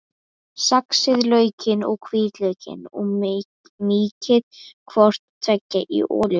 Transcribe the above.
Saxið laukinn og hvítlaukinn og mýkið hvort tveggja í olíunni.